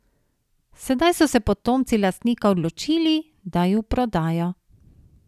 Sedaj so se potomci lastnika odločili, da ju prodajo.